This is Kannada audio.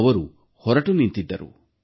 ಅವರು ಹೊರಟು ನಿಂತಿದ್ದರು